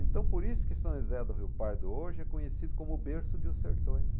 Então, por isso que São José do Rio Pardo hoje é conhecido como o berço de Os Sertões.